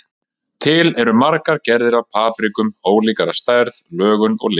Til eru margar gerðir af paprikum, ólíkar að stærð, lögun og lit.